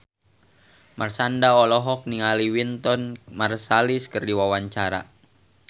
Marshanda olohok ningali Wynton Marsalis keur diwawancara